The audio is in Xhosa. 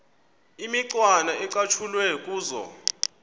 imicwana ecatshulwe kuzo